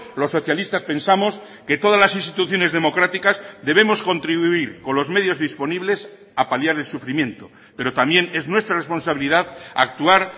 los socialistas pensamos que todas las instituciones democráticas debemos contribuir con los medios disponibles a paliar el sufrimiento pero también es nuestra responsabilidad actuar